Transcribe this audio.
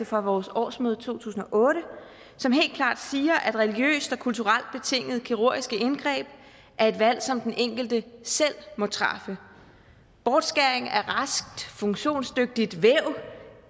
fra vores årsmøde i to tusind og otte som helt klart siger at religiøst og kulturelt betingede kirurgiske indgreb er et valg som den enkelte selv må træffe bortskæring af raskt funktionsdygtigt væv